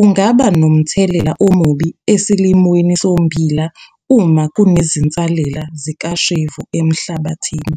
ungaba nomthelela omubi esilimweni sommbila uma kusenezinsalela zikashevu emhlabathini.